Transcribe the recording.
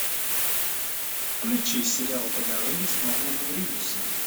включи сериал по дороге с норманом ридусом